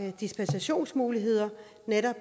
dispensationsmuligheder